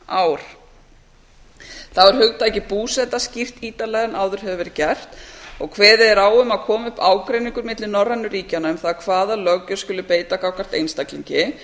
ár þá er hugtakið búseta skýrt ítarlegar en áður hefur verið gert og kveðið er á um að komi upp ágreiningur milli norrænu ríkjanna um það hvaða löggjöf skuli beita gagnvart einstaklingi